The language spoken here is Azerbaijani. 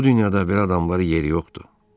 Bu dünyada belə adamların yeri yoxdur.